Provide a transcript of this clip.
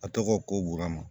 A tɔgɔ ko woloma